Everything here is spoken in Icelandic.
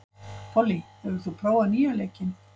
Pollý, hefur þú prófað nýja leikinn?